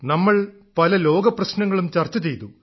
നമ്മൾ പല ലോകപ്രശ്നങ്ങളും ചർച്ച ചെയ്തു